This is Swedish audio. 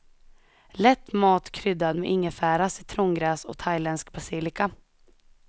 Lätt mat kryddad med ingefära, citrongräs och thailändsk basilika.